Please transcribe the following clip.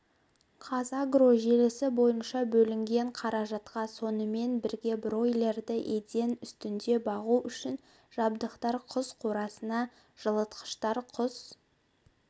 қазагро желісі бойынша бөлінген қаражатқа сонымен біргебройлерді еден үстінде бағу үшін жабдықтар құс қорасына жылытқыштар құс